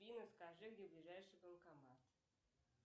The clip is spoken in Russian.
скажи где ближайший банкомат